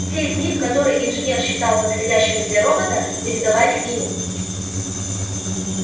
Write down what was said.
те из них которые инженер считал подходящими для робота передавались ему